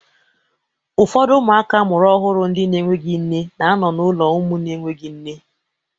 Ụfọdụ ụmụaka amụrụ ọhụrụ ndị na-enweghị nne na-anọ n'ụlọ ụmụ na-enweghị nne